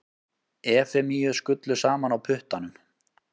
Efemíu skullu saman á puttanum.